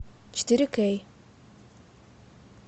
четыре кей